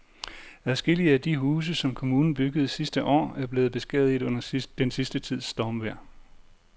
Adskillige af de huse, som kommunen byggede sidste år, er blevet beskadiget under den sidste tids stormvejr.